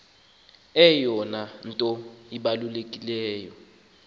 eyona nto ibalulekileyo